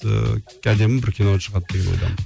ыыы әдемі бір кино шығады деген ойдамын